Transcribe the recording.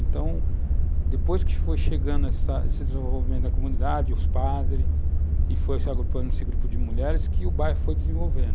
Então, depois que foi chegando essa, esse desenvolvimento da comunidade, os padres, e foi se agrupando esse grupo de mulheres, que o bairro foi desenvolvendo.